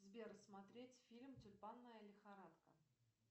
сбер смотреть фильм тюльпанная лихорадка